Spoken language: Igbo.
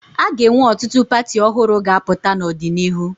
A ga-enwe ọtụtụ pati ọhụrụ ga-apụta n'ọdịnihu.